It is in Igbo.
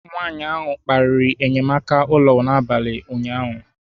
Nwanyị ahụ kparịrị enyemaka ụlọ n'abalị ụnyaahụ